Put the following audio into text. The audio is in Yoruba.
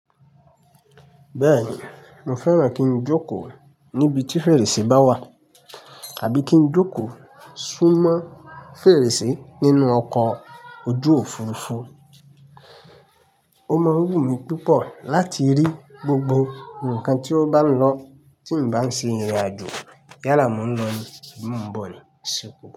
Bẹ́ẹ̀ni mo fẹ́ran kí n jókòó níbi tí fèrèsé bá wà àbí kí n jókòó súnmọ́ fèrèsé nínú ọkọ̀ ojú Òfurufú. Ó mọ wù mí púpọ̀ láti rí gbogbo ǹkan tí ó bá n lọ tí n bá ń ṣe ìrìnàjò yála mo ń lọ ní bí mo ń bọ̀ ní sìkò.